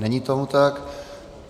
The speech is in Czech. Není tomu tak.